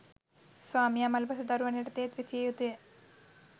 ස්වාමියා මළ පසු දරුවන් යටතේත් විසිය යුතුය.